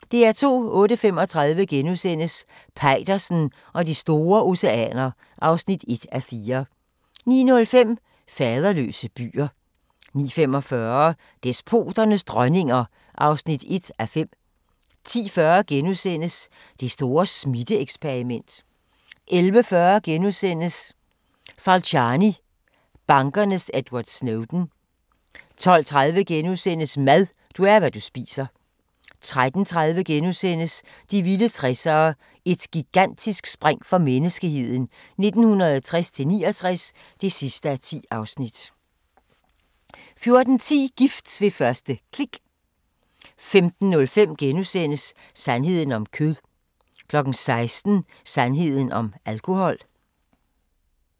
08:35: Peitersen og de store oceaner (1:4)* 09:05: Faderløse byer 09:45: Despoternes dronninger (1:5) 10:40: Det store smitte-eksperiment * 11:40: Falciani – bankernes Edward Snowden * 12:30: Mad – du er, hvad du spiser * 13:30: De vilde 60'ere: Et gigantisk spring for menneskeheden 1960-69 (10:10)* 14:10: Gift ved første klik 15:05: Sandheden om kød * 16:00: Sandheden om alkohol